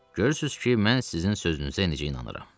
Görürsüz ki, mən sizin sözünüzə necə inanıram.